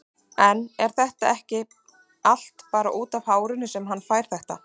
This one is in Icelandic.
En er þetta ekki allt bara útaf hárinu sem hann fær þetta?